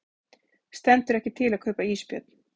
Stendur ekki til að kaupa ísbjörn